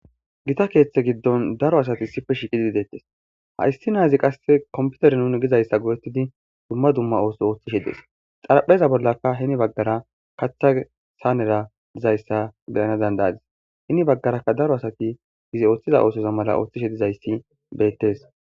gita keeththe giddon daro asati issife shiiqidi deettes ha issi naazi qasse komputeri nuni gizayssa godettidi dumma dumma ooso ooththishe dees xarapheza bollakka hini baggara katha saanera dizayssa beyana dandayadis hini baggarakka daro asati gizi ooththiza oosozo mala ooththishe dizayssi beettes